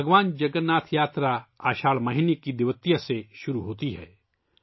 بھگوان جگن ناتھ یاترا اساڑھ مہینے کی دویتیا سے شروع ہوتی ہے